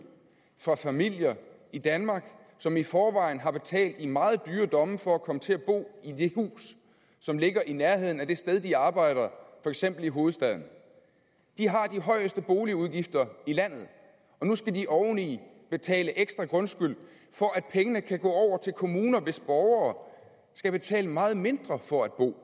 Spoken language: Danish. fra familier i danmark som i forvejen har betalt i meget dyre domme for at komme til at bo i det hus som ligger i nærheden af det sted de arbejder for eksempel i hovedstaden de har de højeste boligudgifter i landet og nu skal de oven i betale ekstra grundskyld for at pengene kan gå over til kommuner hvis borgere skal betale meget mindre for at bo